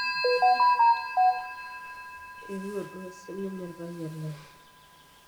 eeu duo sininye olpayian lai